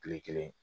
Kile kelen